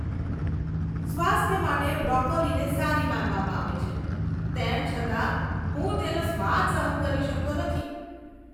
સ્વાસ્થ્ય માટે બ્રોકોલીને સારી માનવામાં આવે છે તેમ છતાં હું તેનો સ્વાદ સહન કરી શકતો નથી.